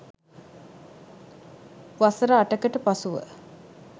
වසර අටකට පසුව